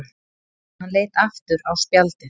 Hann leit aftur á spjaldið.